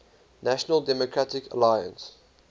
national democratic alliance